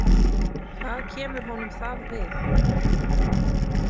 Hvað kemur honum það við?